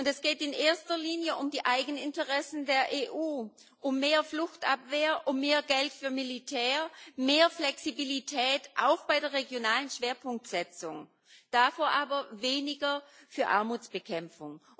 Es geht in erster Linie um die Eigeninteressen der EU, um mehr auf Fluchtabwehr, mehr Geld für Militär, mehr Flexibilität auch bei der regionalen Schwerpunktsetzung dafür aber weniger für Armutsbekämpfung.